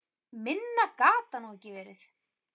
Minna gat það nú ekki verið.